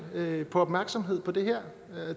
om opmærksomhed om det her